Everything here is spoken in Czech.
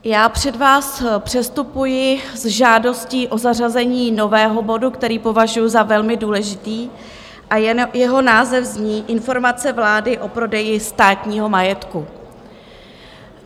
Já před vás předstupuji s žádostí o zařazení nového bodu, který považuji za velmi důležitý, a jeho název zní Informace vlády o prodeji státního majetku.